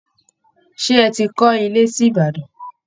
Ṣé ẹ ti kọ́ ilé sí Ìbàdàn